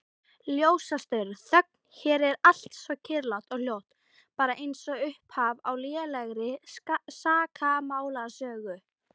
Ljósastaurar, þögn, hér er allt svo kyrrlátt og hljótt, bara einsog upphaf á lélegri sakamálasögu.